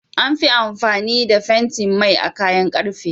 Anfi amfani da fentin Mai a kayan karfe